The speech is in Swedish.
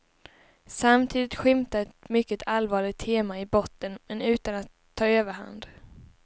Samtidigt skymtar ett mycket allvarligt tema i botten men utan att ta överhand.